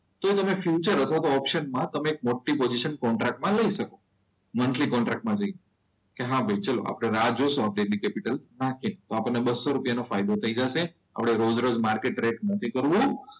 તો તમે ફ્યુચર અથવા તો ઓપ્શન માં તમે એક મોટી પોઝીશન ટ્રેક માં લઈ શકો મંથલી કોન્ટ્રાક્ટ માં જઈને. કે હા ભાઈ ચલો આપણે રાહ જોઈશું આ ટ્રેક કેપિટલ માર્કેટ તો આપણને બસો રૂપિયાનો ફાયદો થઈ જશે આપણે રોજ રોજ માર્કેટ ટ્રેક નથી કરવું.